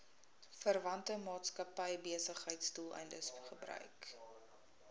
verwante maatskappybesigheidsdoeleindes gebruik